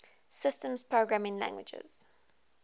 systems programming languages